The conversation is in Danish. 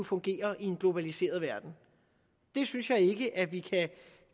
fungere i en globaliseret verden det synes jeg ikke at vi